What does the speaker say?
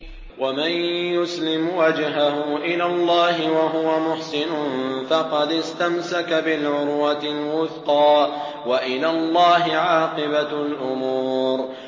۞ وَمَن يُسْلِمْ وَجْهَهُ إِلَى اللَّهِ وَهُوَ مُحْسِنٌ فَقَدِ اسْتَمْسَكَ بِالْعُرْوَةِ الْوُثْقَىٰ ۗ وَإِلَى اللَّهِ عَاقِبَةُ الْأُمُورِ